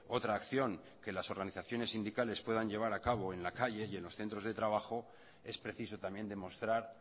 otra acción que las organizaciones sindicales puedan llevar a cabo en las calles y en los centros de trabajo es preciso también demostrar